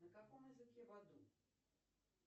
на каком языке в аду